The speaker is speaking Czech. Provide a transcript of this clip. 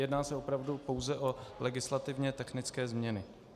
Jedná se opravdu pouze o legislativně technické změny.